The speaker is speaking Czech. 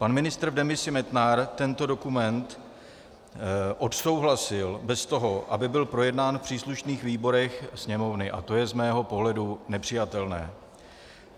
Pan ministr v demisi Metnar tento dokument odsouhlasil bez toho, aby byl projednán v příslušných výborech Sněmovny, a to je z mého pohledu nepřijatelné.